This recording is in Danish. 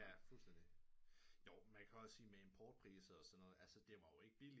Ja fuldstændigt jo man kan også sige med import priser og sådan noget det var jo ikke billigt